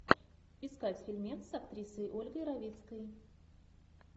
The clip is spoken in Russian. искать фильмец с актрисой ольгой равицкой